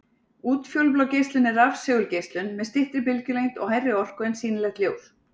Útfjólublá geislun er rafsegulgeislun með styttri bylgjulengd og hærri orku en sýnilegt ljós.